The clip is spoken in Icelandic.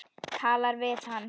Talar við hann.